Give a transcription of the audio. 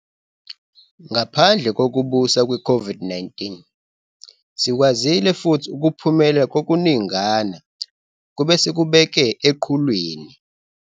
Ngaphandle kokubusa kwe-COVID-19, sikwazile futhi ukuphumelela kokuningana kwebesikubeke eqhulwini.